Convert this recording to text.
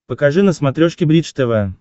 покажи на смотрешке бридж тв